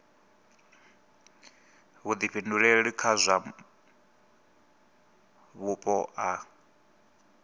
vhuḓifhinduleli kha zwa vhupo a